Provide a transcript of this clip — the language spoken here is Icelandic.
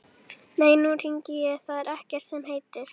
Nei, nú hringi ég, það er ekkert sem heitir!